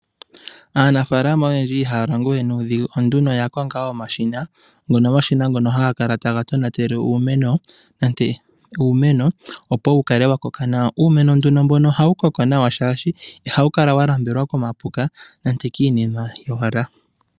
Aanafalama oyendji ihaya longowe nuudhigu oya konga omashina ngono haga kala taga tonatele iimeno, opo wu kale wa koka nawa. Uumeno mbono ohawu koko nawa shaashi ihawu kala wa nambelwa komapuka nenge kiinima yowala.